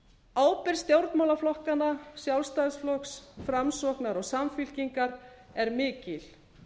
ábyrgð stjórnmálaflokkanna sjálfstæðisflokks framsóknarflokks og samfylkingar er mikil